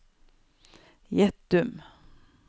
Gjettum